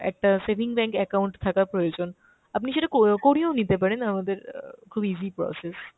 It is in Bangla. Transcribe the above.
একটা saving bank account থাকা প্রয়োজন। আপনি সেটা কো~ করিয়েও নিতে পারেন আমাদের অ্যাঁ খুব easy process।